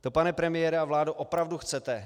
To, pane premiére a vládo, opravdu chcete?